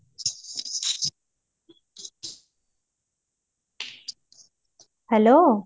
hello